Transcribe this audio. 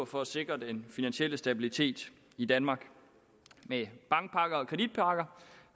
for at sikre den finansielle stabilitet i danmark med bankpakker og kreditpakker